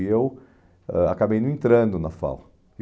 E eu ãh acabei não entrando na FAO.